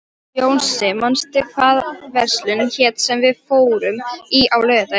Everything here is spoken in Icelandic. Jónsi, manstu hvað verslunin hét sem við fórum í á laugardaginn?